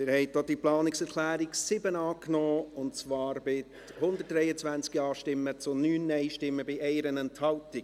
Sie haben auch die Planungserklärung 7 angenommen, und zwar mit 123 Ja- zu 9 NeinStimmen bei 1 Enthaltung.